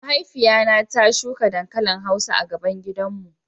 Mahaifiya na ta shuka dankalin hausa a gaban gidan mu.